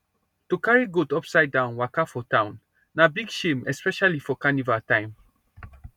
to carry goat upsidedown waka for town na big shame especially for carnival time